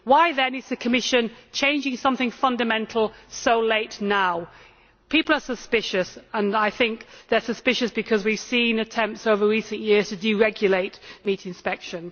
Why, then, is the Commission changing something fundamental so late now? People are suspicious, and I think they are suspicious because we have seen attempts over recent years to deregulate meat inspection.